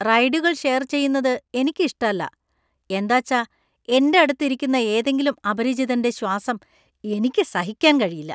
റൈഡുകൾ share ചെയുന്നത് എനിക്ക് ഇഷ്ടല്ല, എന്താച്ചാ എന്‍റെ അടുത്ത് ഇരിക്കുന്ന ഏതെങ്കിലും അപരിചിതന്‍റെ ശ്വാസം എനിക്ക് സഹിക്കാൻ കഴിയില്ല.